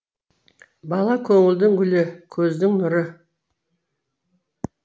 бала көңілдің гүлі көздің нұры